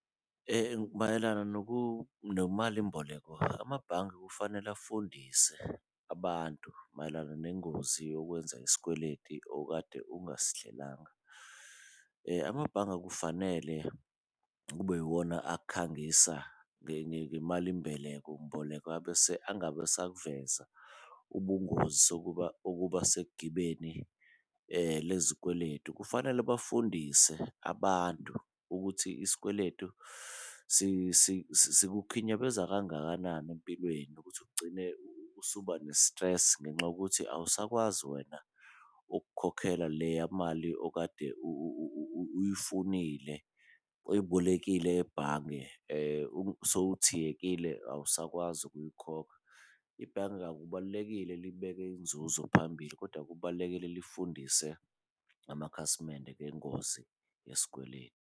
Mayelana nemalimboleko, amabhange kufanele afundise abantu mayelana nengozi yokwenza isikweleti okade ungasihlelanga , amabhange akufanele kube iwona akhangisa ngemali . Abese angabe esakuveza ubungozi sokuba, okuba segibeni lezikweletu. Kufanele bafundise abantu ukuthi isikweletu sikukhinyabeza kangakanani empilweni, ukuthi ugcine usuba ne-stress ngenxa yokuthi awusakwazi wena ukukhokhela leya mali okade uyifunile oyibolekile ebhange , awusakwazi ukuyikhokha. Ibhange akubalulekile libeke inzuzo phambili, kodwa kubalulekile lifundise amakhasimende ngengozi yesikweletu.